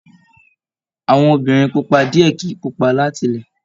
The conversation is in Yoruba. Àwọn Obìnrin pupa diẹ kìí pupa látilẹ̀.